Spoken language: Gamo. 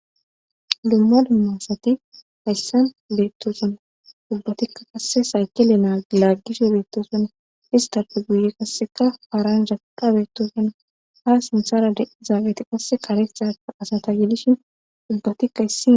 Dumma dumma ssati hayssan beettosona ubbatikka qasse sayke le laaggishe beettosona istape guye qasseka paaranjatika beettossona ha sinthara de7izaabeti qasse karetaa asata gedishin ubbatikka hissi